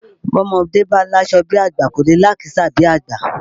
Bọ́mọdé bá láṣọ bí àgbà kò lè lákìísà bí àgbà